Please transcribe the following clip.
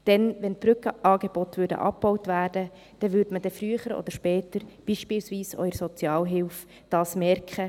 Denn würden die Brückenangebote abgebaut, würde man dies früher oder später beispielsweise auch in der Sozialhilfe merken.